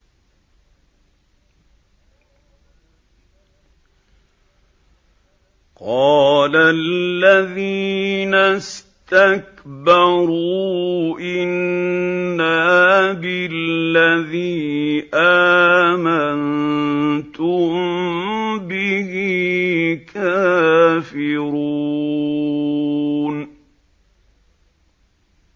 قَالَ الَّذِينَ اسْتَكْبَرُوا إِنَّا بِالَّذِي آمَنتُم بِهِ كَافِرُونَ